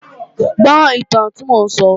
Gbọ́ ìtàn tí mò ń sọ!